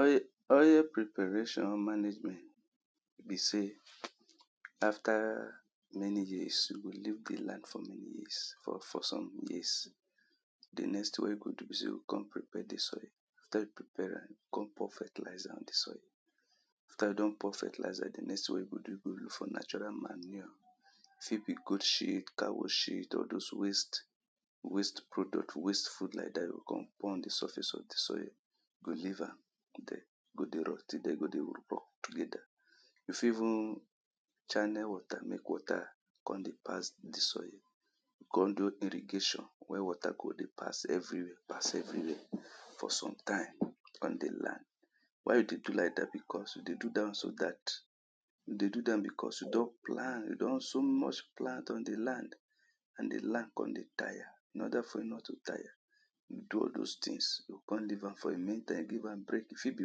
oil, oil preparation management, be sey, after many years e go leave the land for many years, or for some years. the next ting wey you go do be sey, you go con prepare the soil after you prepare am, con pour fertilizer on the soil after you don pour fertilizer, the next ting wey you go do, you go look for natural manure e fit be goat shit, cow shit, or dose waste waste product, waste food like dat you go con pour am for surface of the soil, go leave am there go dey rotty there, e go dey together there. you fit even channel water, mek water con dey pass the soil, con do irrigation where water go dey pass everywhere, pass everywhere, for some time on the land. why we dey do like dat because, we dey do dat one so dat, we dey do dat one because, we don plant, we don so much plant on the land, and the land con dey tire in order for it not to tire, you do all dos tings, yo con leave am for a main time, give am break, e fit be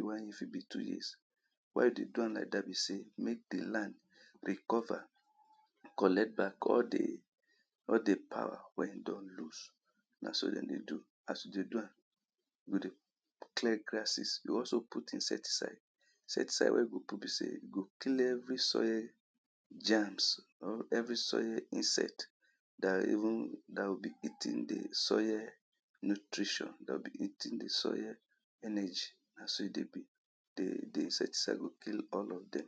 one year, e fit be two years. why we dey do am like dat be sey, mek the land recover, collect back all the, all the power wey e don loose, na so dem dey do, as you dey do am you dey clear grasses, you also put insecticide. insecticide wey you go put be sey e go clear every soile germs, or every soile insect dat even, dat will be eating the soile nutrition. dat will be eating the soile energy, na so e dey be, the, the insecticide go kill all of dem.